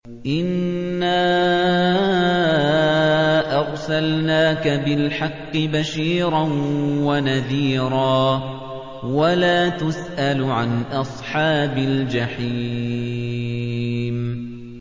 إِنَّا أَرْسَلْنَاكَ بِالْحَقِّ بَشِيرًا وَنَذِيرًا ۖ وَلَا تُسْأَلُ عَنْ أَصْحَابِ الْجَحِيمِ